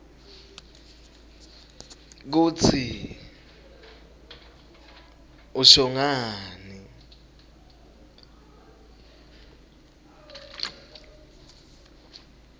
kutsi usho ngani